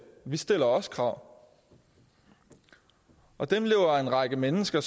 vi stiller også krav og dem lever en række mennesker